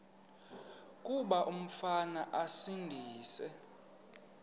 kuba umfana esindise